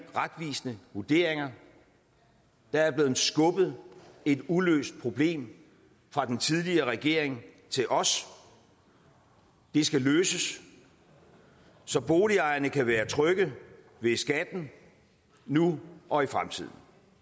retvisende vurderinger der er blevet skubbet et uløst problem fra den tidligere regering til os det skal løses så boligejerne kan være trygge ved skatten nu og i fremtiden